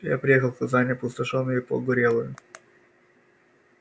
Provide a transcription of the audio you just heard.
я приехал в казань опустошённую и погорелую